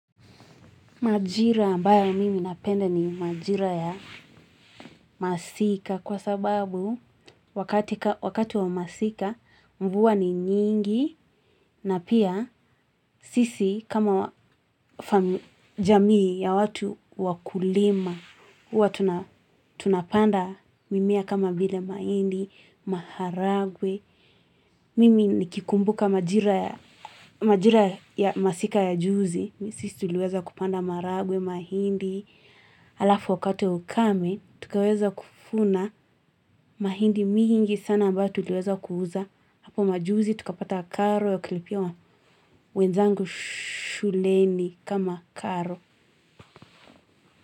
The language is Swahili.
Majira ambayo mimi napenda ni majira ya masika kwa sababu wakati wa masika mvua ni nyingi na pia sisi kama jamii ya watu wa kulima. Huwa tunapanda mimea kama vile mahindi, maharagwe. Mimi nikikumbuka majira ya masika ya juzi. Sisi tuliweza kupanda marahagwe, mahindi. Alafu wakati wa ukame, tukaweza kuvuna mahindi mingi sana ambayo tuliqeza kuuza. Hapo majuzi tukapata karo ya kulipia wenzangu shuleni kama karo.